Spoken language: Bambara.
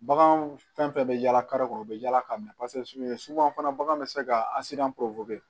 Bagan fɛn fɛn bɛ yala kɔnɔ u bɛ yaala ka minɛ suyɛn suku fana bagan bɛ se ka